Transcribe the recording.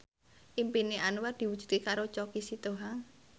impine Anwar diwujudke karo Choky Sitohang